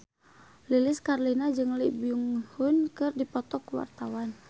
Lilis Karlina jeung Lee Byung Hun keur dipoto ku wartawan